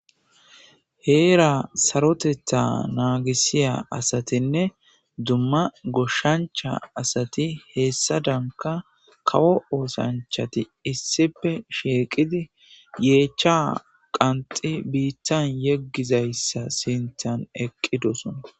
heera sarotetha naagisiya asatinne dumma goshshancha asati heessa danka kawo oosanchati issipe sheeqidi yeecha qanxi biittan yeggizayssa sintan eqqidosona